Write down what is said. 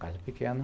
Casa pequena.